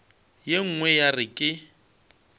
ye nngwe ya re ke